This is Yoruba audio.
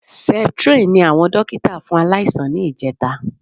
Septrin ni àwọn dókítà fún aláìsàn ní ìjẹta